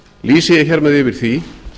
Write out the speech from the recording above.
lýsi ég hér með yfir því